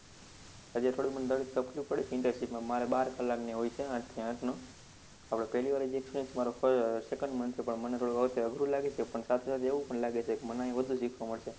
હજુ થોડું મને દરરોજ તકલીફ પડે internship માં મારે બાર કલાકની હોય છે આઠ થી આઠનું, હવે પહેલી વાર experience મારો second month ઉપર મને થોડું અધરું લાગ્યું પણ સાથે-સાથે એવું લાગે છે કે મને વધુ શીખવા મળશે.